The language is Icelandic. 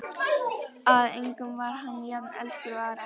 Að engum var hann jafn elskur og Ara.